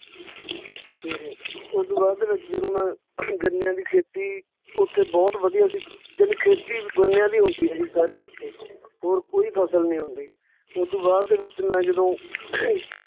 ਤੇ ਓਦੂ ਬਾਅਦ ਦੇ ਵਿੱਚ ਜਦੋਂ ਮੈਂ ਗੰਨਿਆਂ ਦੀ ਖੇਤੀ ਉੱਥੇ ਬਹੁਤ ਵਧੀਆ ਸੀ, ਜਾਣੀ ਖੇਤੀ ਗੰਨਿਆਂ ਦੀ ਹੁੰਦੀ ਜੀ ਸਾਰੀ ਉੱਥੇ, ਹੋਰ ਕੋਈ ਫ਼ਸਲ ਨਹੀਂ ਹੰਦੀ, ਓਦੂ ਬਾਅਦ ਦੇ ਵਿੱਚ ਮੈਂ ਜਦੋਂ